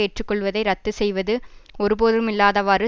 ஏற்றுக்கொள்வதை ரத்து செய்வது ஒருபோதுமில்லதவாறு